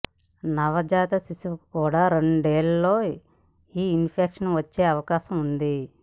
నవజాత శిశువుకు కూడా రెండేళ్లలో ఈ ఇన్ఫెక్షన్ వచ్చే అవకాశం ఉంది